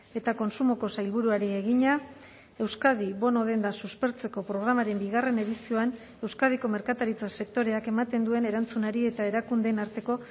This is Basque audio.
eta kontsumoko sailburuari egina euskadi bono denda suspertzeko programaren bigarren edizioan euskadiko merkataritza sektoreak ematen duen erantzunari eta erakundeen arteko